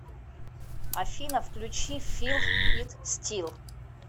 афина включи фил ит стил